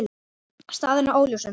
Staðan er óljós ennþá.